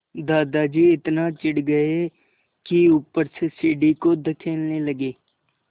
दादाजी इतना चिढ़ गए कि ऊपर से सीढ़ी को धकेलने लगे